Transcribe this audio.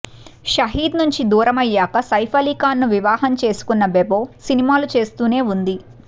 షహీద్ నుంచి దూరమయ్యాక సైఫ్ అలీఖాన్ ను వివాహం చేసుకున్న బెబో సినిమాలు చేస్తూనే ఉంది